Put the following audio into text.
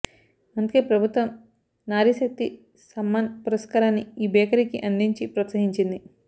అందుకే ప్రభుత్వం నారీశక్తి సమ్మాన్ పురస్కారాన్ని ఈ బేకరీకి అందించి ప్రోత్సహించింది